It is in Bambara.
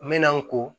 N mɛna n ko